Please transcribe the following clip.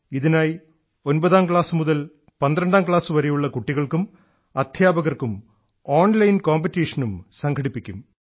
ഇതിനായി 9ാം ക്ലാസ്സു മുതൽ 12ാം ക്ലാസ്സുവരെയുള്ള കുട്ടികൾക്കും അദ്ധ്യാപകർക്കും ഓൺലൈൻ മത്സരവും സംഘടിപ്പിക്കും